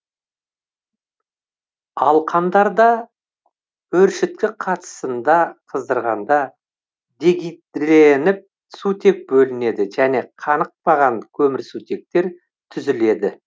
алкандарда өршіткі қатысында қыздырғанда дегидрленіп сутек бөлінеді және канықпаған көмірсутектер түзіледі